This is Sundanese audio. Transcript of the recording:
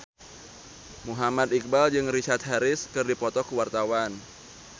Muhammad Iqbal jeung Richard Harris keur dipoto ku wartawan